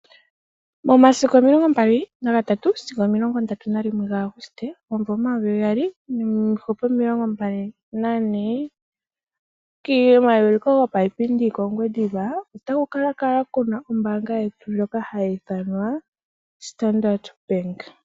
Momasiku omilongombali na gatatu sigo omilongondatu nalimwe ga August omumvo omayovi gaali, niihupe omilongombali nane. Komauliko gopaipindi kOngwediva ota ku ka kala kuna ombaaanga yetu ndjoka ha yi ithanwa Standard Bank.